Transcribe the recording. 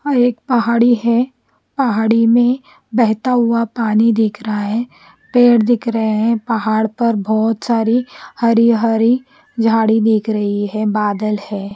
हां एक पहाड़ी है पहाड़ी में बेहता हुआ पानी दिख रहा है पेड़ दिख रहे है पहाड़ पर बोहोत सारे हरे हरे जाड़ी दिख रही है बादल है।